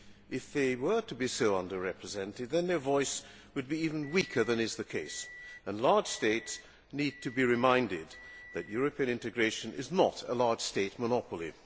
If they were to be so under represented, then their voice would be even weaker than is the case, and large states need to be reminded that European integration is not a large state monopoly.